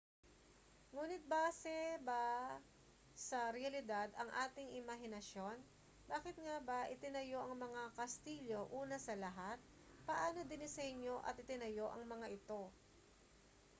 nguni't base ba sa realidad ang ating imahinasyon bakit nga ba itinayo ang mga kastilyo una sa lahat paano dinisenyo at itinayo ang mga ito